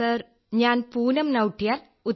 sir ഞാൻ പൂനം നൌട്ടിയാൽ